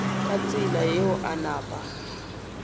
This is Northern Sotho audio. ka tsela yeo a napa